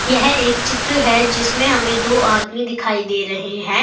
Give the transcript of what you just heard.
यह एक चित्र है जिसमें हमें दो आदमी दिखाई दे रहे हैं।